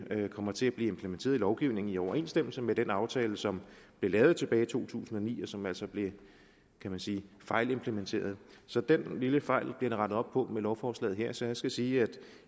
kommer til at blive implementeret i lovgivningen i overensstemmelse med den aftale som blev lavet tilbage i to tusind og ni og som altså blev kan man sige fejlimplementeret så den lille fejl bliver der rettet op på med lovforslaget her så jeg skal sige at